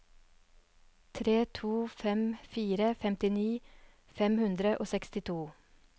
tre to fem fire femtini fem hundre og sekstito